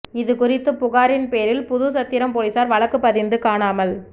இது குறித்த புகாரின் பேரில் புதுச்சத்திரம் போலீசார் வழக்கு பதிந்து காணாமல்